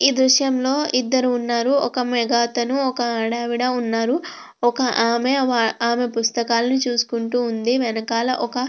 ఈ దృశ్యం లో ఇద్దరు ఉన్నారు ఒక మగతను ఒక ఆడావిడ ఉన్నారు ఒకామె ఆమె పుస్తకాలని చూసుకుంటూ ఉంది వెనకాల ఒక --